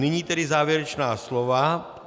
Nyní tedy závěrečná slova.